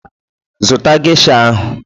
Zụta gesha ahụ!